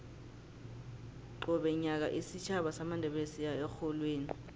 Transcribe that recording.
qobe nyaka isitjhaba samandebele siya erholweni